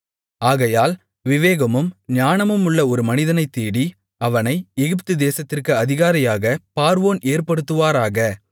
ஆகையால் விவேகமும் ஞானமுமுள்ள ஒரு மனிதனைத் தேடி அவனை எகிப்துதேசத்திற்கு அதிகாரியாகப் பார்வோன் ஏற்படுத்துவாராக